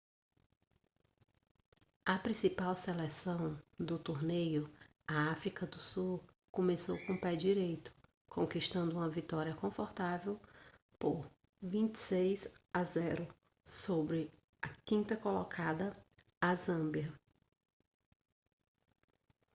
a principal seleção do torneio a áfrica do sul começou com pé direito conquistando uma vitória confortável por 26 a 0 sobre a 5ª colocada a zâmbia